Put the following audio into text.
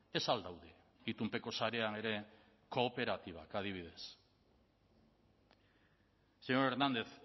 ez al daude itunpeko sarean ere kooperatibak adibidez señor hernández